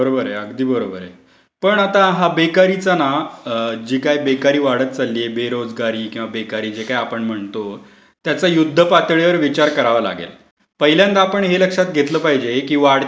बरोबर आहे, अगदी बरोबर आहे. पण आता हा बेकारीचा ना जी काय बेकारी वाढत चाललीय बेरोजगारी किंवा बेकारी जे काही आपण म्हणतो त्याचा युद्धपातळीवर विचार करावा लागेल. पहिल्यांदा आपण हे लक्षात घेतलं पाहिजे की वाढती लोकसंख्या ही समस्या आहे यात शंकाच नाही.